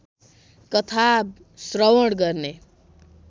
कथा श्रवण गर्ने